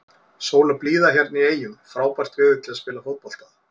Sól og blíða hérna í eyjum, frábært veður til að spila fótbolta.